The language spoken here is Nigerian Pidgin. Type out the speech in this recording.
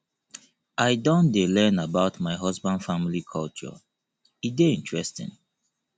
i don dey learn about my husband family culture e dey interesting